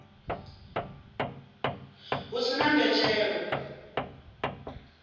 hu si na mbetshelo i